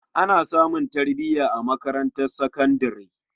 Ana samun tarbiya a malaman makarantar sakandare.